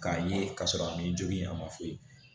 K'a ye k'a sɔrɔ a ni joli in a ma fu